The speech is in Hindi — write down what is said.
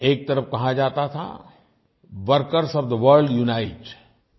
एक तरफ़ कहा जाता था workers of the world unite